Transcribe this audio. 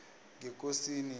ngekosini